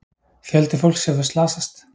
Fjöldi fólks hefur slasast.